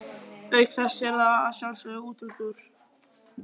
Auk þess er það að sjálfsögðu útúrdúr.